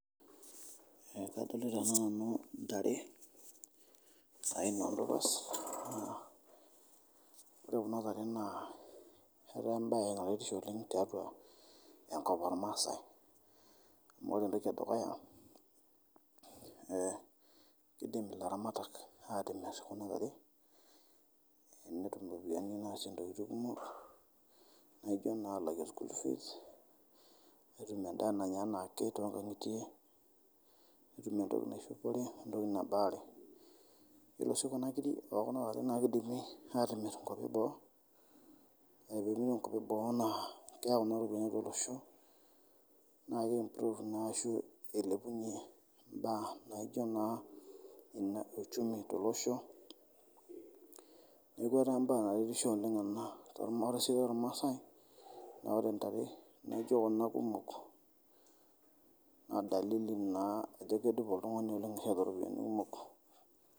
Kadolita naa nanu intare aina oldopas ,ore kuna tare naa etaa enbaye enaretisho oleng tiatua enkop olmaasai amu ore entoki edukuya naa keidim laramatak aatimir inkiri netum iropiyiani naasie ntokitin kumok naaijo naa alakie school fees, netum endaa naaya anaake tr nkangitie, netum entoi naishopore, entoki nabaare, ore si kuna kirii okun tokin naa keidimi aatimir enkopi eboo, etii ninye enkopi eboo naa keyau kuna iropiyiani atua oloshoo naa keimprove naa ashu eilepunye imbaa naaijo naa ena uchumi te loshoo, neaku embaa naretisho oleng ana tolomisoi lolmaasai naa ore ntare naaijo kun kumok adalili naa ajo kedupo oltungani ashu keeta iropoyiani kumok.